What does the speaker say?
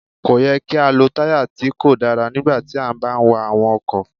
Kò yẹ kí á lọ táyà tí kò dára nígbà tí a bá ń wa àwọn ọkọ̀.